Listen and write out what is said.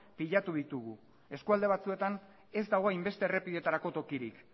pilatu ditugu eskualde batzuetan ez dago hainbeste errepidetarako tokirik